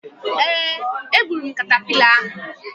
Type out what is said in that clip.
Ee, egburu m katapila ahu.